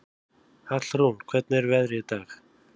Hallrún, hvernig er veðrið í dag?